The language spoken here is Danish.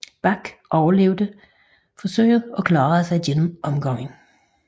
Bak overlevede dog forsøget og klarede sig igennem omgangen